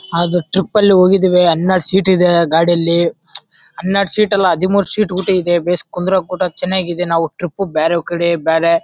ಆಗ ಟ್ರಿಪ್ ಅಲ್ಲಿ ಹೋಗಿದೀವಿ ಹನ್ನೆರಡ ಸೀಟ್ ಇದೆ ಗಾಡಿಲಿ. ಹನ್ನೆರಡ ಸೀಟ್ ಅಲ್ಲಿ ಹದಿಮೂರ ಸೀಟ್ ಬಿಟ್ಟಿದೆ ಬೇಸ್ ಕುಂದ್ರ ಕೂಟ ಚನ್ನಾಗಿದೆ ನಾವು ಟ್ರಿಪ್ ಗೆ ಬ್ಯಾರೆ ಕಡೆ ಬ್ಯಾರೆ--